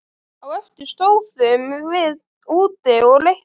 Á eftir stóðum við úti og reyktum.